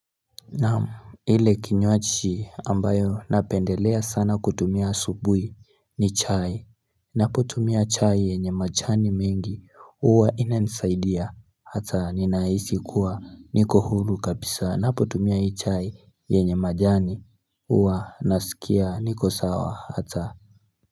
Naam ile kinywaji ambayo napendelea sana kutumia asubuhi ni chai ninapotumia chai yenye majani mengi uwa ina nisaidia ata ninaisi kuwa niko hulu kabisa napotumia hii chai yenye majani uwa nasikia niko sawa hata.